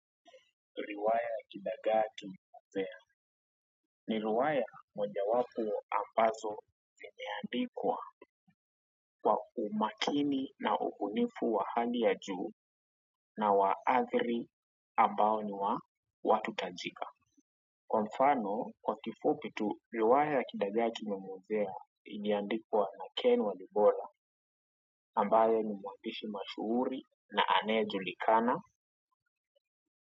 Riwaya ya kidagaa kimemwozea ni riwaya mojawapo ambazo zimeandikwa kwa umakini na ubunifu wa hali ya juu na wa azri ambao ni wa watu tajika kwa mfano kwa kifupi tu riwaya ya kidagaa kimemwozea iliandikwa na ken walibora ambaye ni mwandishi mashuhuri na anayejulikana.